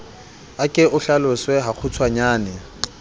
a ke o hlalose hakgutshwanyane